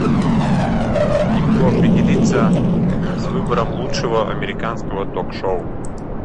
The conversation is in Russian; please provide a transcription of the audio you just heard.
не могу определиться с выбором лучшего американского ток шоу